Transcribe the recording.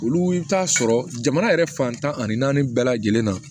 Olu bɛ taa sɔrɔ jamana yɛrɛ fantan ani naani bɛɛ lajɛlen na